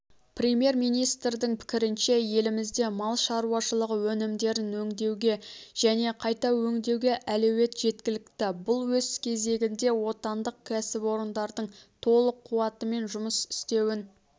премьер-министрдің пікірінше елімізде мал шаруашылығы өнімдерін өндіруге және қайта өңдеуге әлеует жеткілікті бұл өз кезегінде отандық кәсіпорындардың толық қуатымен жұмыс істеуін